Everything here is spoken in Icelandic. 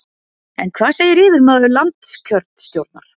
En hvað segir yfirmaður landskjörstjórnar?